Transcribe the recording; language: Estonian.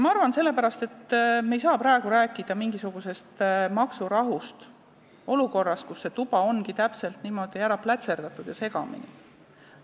Ma arvan, et sellepärast me ei saa praegu rääkida mingisugusest maksurahust olukorras, kus see tuba ongi täpselt niimoodi ära plätserdatud ja segamini.